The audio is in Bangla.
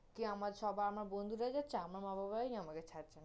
কি আমার সবা~ আমার বন্ধুরা যাচ্ছে, আমার মা-বাবাই নি আমাকে ছাড়ছে